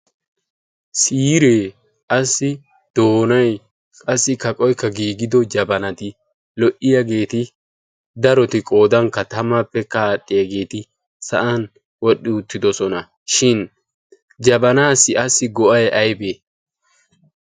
siiree assi doonai qassi kaqoykka giigido jabanati lo"iyaageeti daroti qoodankka tamaappe kaaxxiyaageeti sa'an wodhdhi uttidosona shin jabanaassi assi go'ay aybee?